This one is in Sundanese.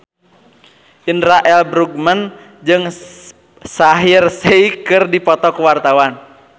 Indra L. Bruggman jeung Shaheer Sheikh keur dipoto ku wartawan